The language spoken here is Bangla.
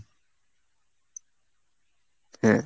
হ্যাঁ।